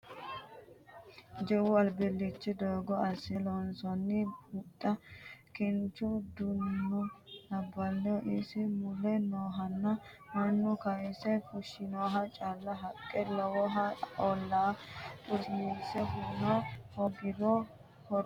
Jawu alilicho gotti assine loonsonni huxxa kinchu duuno labbano isi mule noohuno mannu kayse fushinoha caalu haqqa lawano ollala xursiise huna hoogiro horo faayyaho.